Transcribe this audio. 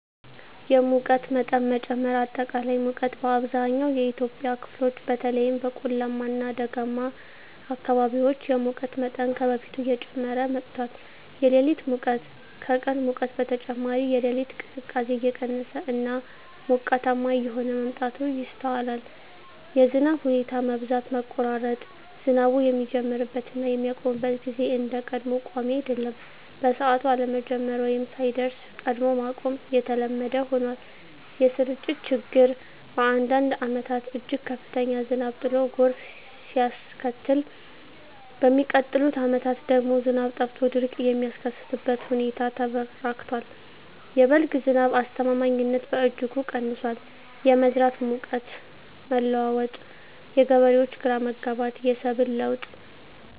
1)የሙቀት መጠን መጨመር >>አጠቃላይ ሙቀት: በአብዛኛው የኢትዮጵያ ክፍሎች (በተለይም በቆላማ እና ደጋማ አካባቢዎች) የሙቀት መጠን ከበፊቱ እየጨመረ መጥቷል። >>የሌሊት ሙቀት: ከቀን ሙቀት በተጨማሪ፣ የሌሊት ቅዝቃዜ እየቀነሰ እና ሞቃታማ እየሆነ መምጣቱ ይስተዋላል። 2)የዝናብ ሁኔታ መዛባት >>መቆራረጥ: ዝናቡ የሚጀምርበት እና የሚያቆምበት ጊዜ እንደ ቀድሞው ቋሚ አይደለም። በሰዓቱ አለመጀመር ወይም ሳይደርስ ቀድሞ ማቆም የተለመደ ሆኗል። >>የስርጭት ችግር: በአንዳንድ ዓመታት እጅግ ከፍተኛ ዝናብ ጥሎ ጎርፍ ሲያስከትል፣ በሚቀጥሉት ዓመታት ደግሞ ዝናብ ጠፍቶ ድርቅ የሚከሰትበት ሁኔታ ተበራክቷል። የ"በልግ" ዝናብ አስተማማኝነትም በእጅጉ ቀንሷል። 3)የመዝራት ወቅት መለዋወጥ: የገበሬዎች ግራ መጋባት፣ የሰብል ለውጥ